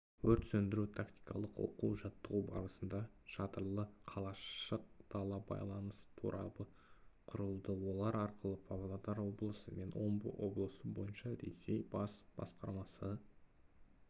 өрт сөндіру-тактикалық оқу-жаттығу барысында шатырлы қалашық дала байланыс торабы құрылды олар арқылы павлодар облысы және омбы облысы бойынша ресей бас басқармасы